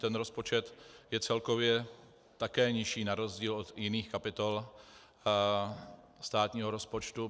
Ten rozpočet je celkově také nižší na rozdíl od jiných kapitol státního rozpočtu.